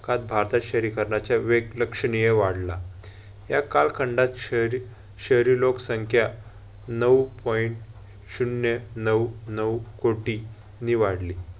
कात भारतात शहरीकरणाचा वेग लक्षणीय वाढला. त्या कालखंडात शहरी शहरी लोकसंख्या नऊ point शून्य नऊ, नऊ कोटीं नी वाढली.